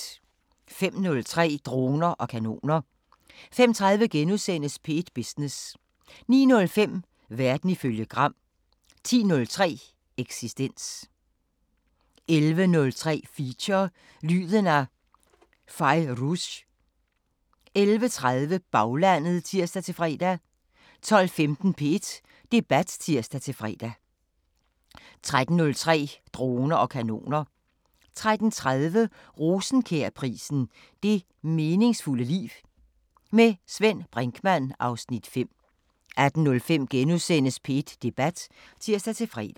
05:03: Droner og kanoner 05:30: P1 Business * 09:05: Verden ifølge Gram 10:03: Eksistens 11:03: Feature: Lyden af Fairuz 11:30: Baglandet (tir-fre) 12:15: P1 Debat (tir-fre) 13:03: Droner og kanoner 13:30: Rosenkjærprisen: Det meningsfulde liv. Med Svend Brinkmann (Afs. 5) 18:05: P1 Debat *(tir-fre)